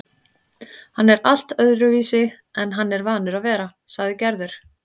Hann er allt öðruvísi en hann er vanur að vera, sagði Gerður.